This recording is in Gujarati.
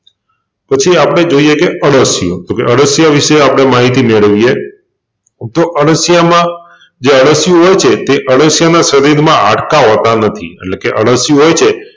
પછી આપણે જોઈએકે અળસિયું તોકે અળસિયાં વિશે આપણે માહિતી મેળવીએ તો અળસિયામાં જે અળસિયું હોય છે તે અળસિયાનાં શરીરમાં હાડકાં હોતા નથી એટલેકે અળસિયું હોય છે.